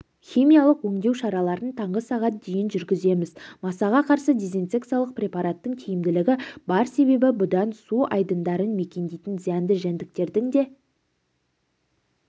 химиялық өңдеу шараларын таңғы сағат дейін жүргіземіз масаға қарсы дезинсекциялық препараттың тиімділігі бар себебі бұдан су айдындарын мекендейтін зиянды жәндіктердің де